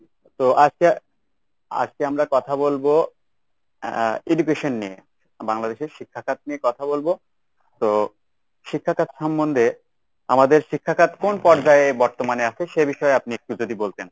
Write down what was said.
তো আজকে আজকে আমরা কথা বলবো আহ education নিয়ে। বাংলাদেশের শিক্ষাখাত নিয়ে কথা বলবো। তো শিক্ষাখাত সম্বন্ধে আমাদের শিক্ষাখাত কোন পর্যায়ে বর্তমানে আছে সে বিষয়ে আপনি একটু যদি বলতেন।